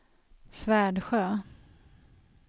Svärdsjö